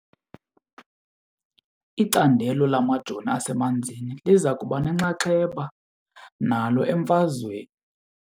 Icandelo lamajoni asemanzini liza kuba nenxaxheba nalo emfazweni.